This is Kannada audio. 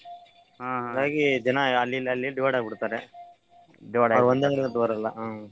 ಹಂಗಾಗಿ ಜನಾ ಅಲ್ಲಿಇಲ್ಲಿ ಅಲ್ಲಿಇಲ್ಲಿ divide ಆಗ್ಬಿಡತರ್ರೀ .